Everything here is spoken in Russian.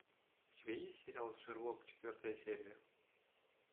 у тебя есть сериал шерлок четвертая серия